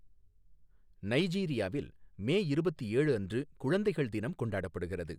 நைஜீரியாவில் மே இருபத்து ஏழு அன்று குழந்தைகள் தினம் கொண்டாடப்படுகிறது.